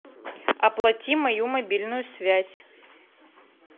оплати мою мобильную связь